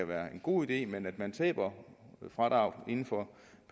være en god idé men at man taber fradraget inden for